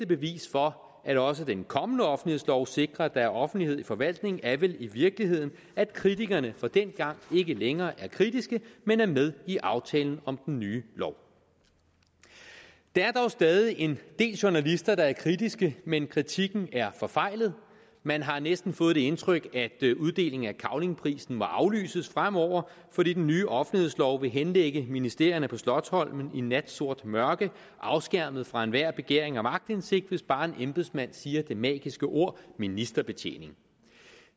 bevis for at også den kommende offentlighedslov sikrer at der er offentlighed i forvaltningen er vel i virkeligheden at kritikerne fra dengang ikke længere er kritiske men er med i aftalen om den nye lov der er dog stadig en del journalister der er kritiske men kritikken er forfejlet man har næsten fået det indtryk at uddelingen af cavlingprisen må aflyses fremover fordi den nye offentlighedslov vil henlægge ministerierne på slotsholmen i natsort mørke afskærmet fra enhver begæring om aktindsigt hvis bare en embedsmand siger det magiske ord ministerbetjening